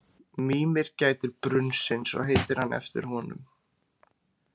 Mímir gætir brunnsins og heitir hann eftir honum.